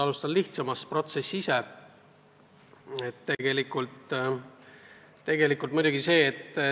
Alustan lihtsamast: protsess ise.